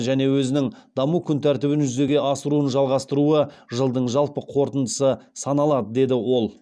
және өзінің даму күнтәртібін жүзеге асыруын жалғастыруы жылдың жалпы қорытындысы саналады деді ол